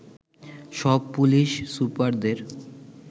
সব পুলিশ সুপারদের